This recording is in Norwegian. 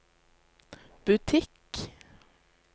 butikk